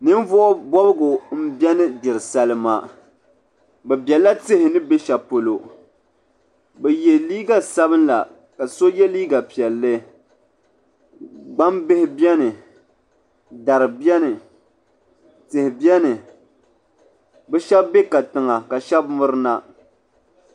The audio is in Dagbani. Ninvuɣu bobgu m beni gbiri salima bɛ biɛla tihi ni be shelipolo bɛ ye liiga sabla ka so ye liiga piɛlli gbambihi biɛni dari biɛni tihi biɛni bɛ Sheba be katiŋa ka Sheba mirina.